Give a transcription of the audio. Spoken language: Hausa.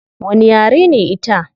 Wani yare ne ita?